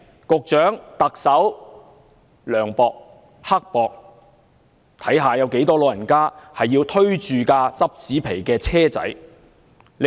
局長和特首涼薄、刻薄，看看有多少長者要推着拾紙皮的手推車？